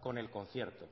con el concierto